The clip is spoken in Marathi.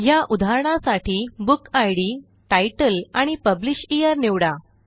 ह्या उदाहरणासाठी बुकिड तितले आणि publish येअर निवडा